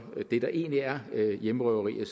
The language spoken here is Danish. det der egentlig er hjemmerøverier